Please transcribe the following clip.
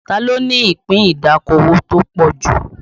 Ta ló ní ìpín ìdókòwò tó pọ̀ jù?